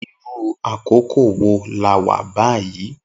Irù àkókó wó là wà bàyí?